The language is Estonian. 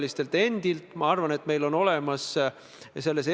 Riigikantselei on täna näinud seda asja selliselt.